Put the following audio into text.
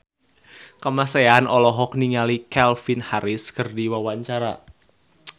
Kamasean olohok ningali Calvin Harris keur diwawancara